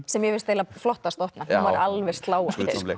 sem mér fannst eiginlega flottasta opnan hún var alveg sláandi